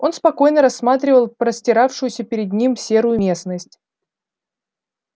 он спокойно рассматривал простиравшуюся перед ним серую местность